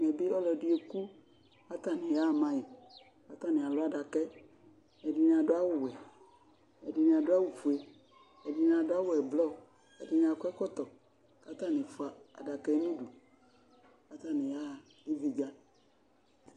Ɛmɛ bi ɔlɔdi eku k'ataniyaɣa ma yi, k'atani alʋ adaka yɛ, ɛdini adʋ awʋ wɛ, ɛdini adʋ awʋ fue, ɛdini adʋ awʋ ɛblɔ, ɛdini akɔ ɛkɔtɔ k'atani fua adaka yɛ n'udu k'ataŋi yaɣa ividza